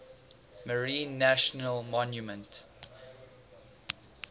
marine national monument